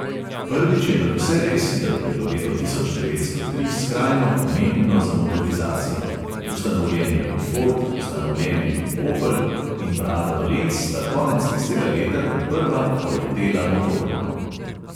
Prvič je nadvse res, da je bilo leto tisoč devetsto tri skrajno pomembno za motorizacijo: ustanovljen je bil ford, ustanovljen je bil opel in brata dolenc sta konec tistega leta kot prva poletela motorno.